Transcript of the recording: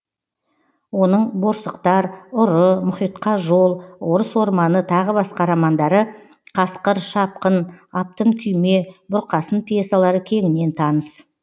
оның борсықтар ұры мұхитқа жол орыс орманы тағы басқа романдары қасқыр шапқын аптын кұйме бұрқасын пьесалары кеңінен таныс